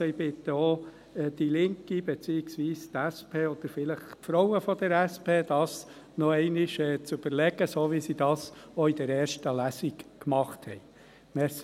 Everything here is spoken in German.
Also: Ich bitte auch die Linke beziehungsweise die SP oder vielleicht die Frauen der SP, sich dies noch einmal zu überlegen, so, wie sie es auch in der ersten Lesung gemacht haben.